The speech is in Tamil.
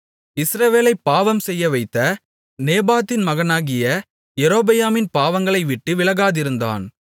இஸ்ரவேலைப் பாவம்செய்யவைத்த நேபாத்தின் மகனாகிய யெரொபெயாமின் பாவங்களைவிட்டு விலகாதிருந்தான்